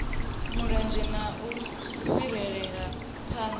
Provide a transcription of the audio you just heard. mulenzhe na u fhirisela phanḓa